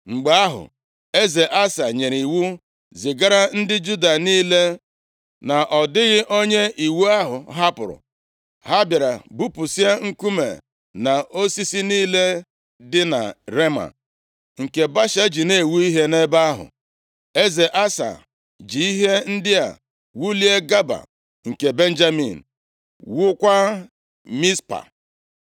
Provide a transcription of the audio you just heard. Mgbe ahụ, eze Asa nyere iwu zigara ndị Juda niile, na ọ dịghị onye iwu ahụ hapụrụ, ha bịara bupusịa nkume na osisi niile dị na Rema, nke Baasha ji na-ewu ihe nʼebe ahụ. Eze Asa ji ihe ndị a wulie Geba nke Benjamin, wuokwa Mizpa.